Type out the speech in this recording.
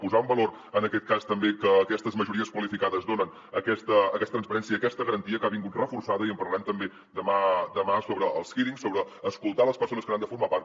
posar en valor en aquest cas també que aquestes majories qualificades donen aquesta transparència i aquesta garantia que ha vingut reforçada i en parlarem també demà sobre els hearings sobre escoltar les persones que n’han de formar part